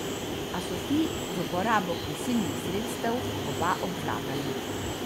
A so ti, z uporabo prisilnih sredstev, oba obvladali.